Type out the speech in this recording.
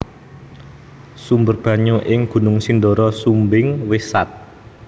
Sumber banyu ing Gunung Sindoro Sumbing wis sat